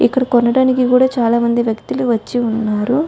ఇక్కడ కొనటానికి కూడా చాలామంది వ్యక్తులు వచ్చి ఉన్నారు.